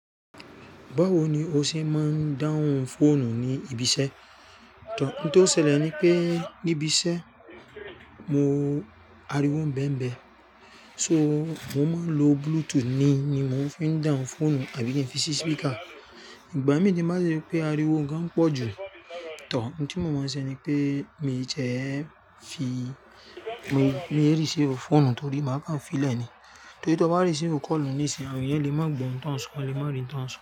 Báwo ni o ṣe máa ń dáhùn fóònù ní ibi iṣẹ́? N tó ṣẹlẹ̀ ni pé níbi iṣẹ́ mo, ariwo ń bẹ́mbẹ́, so mo máa ń lo Bluetooth ni, ni mo fi ń dáhùn fóònù àbí kí n fi sí speaker. Ìgbà mí ni má ṣe pé ariwo ga pọ̀ jù, tọ̀. N tí mo mọ̀ ọ́n ṣe ni pé mi ti e fi, mi ò receive fóònù torí máa kà fi le ni. Torí tí ó bá receive call ni sí, àwọn ènìyàn lè má gbọ́ n tó ń sọ, wọ́n lé má rìn tó ń sọ.